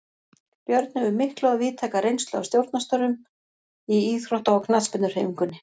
Björn hefur mikla og víðtæka reynslu af stjórnarstörfum í íþrótta- og knattspyrnuhreyfingunni.